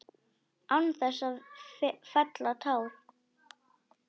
Án þess að fella tár.